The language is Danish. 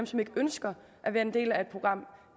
som ikke ønsker at være en del af et program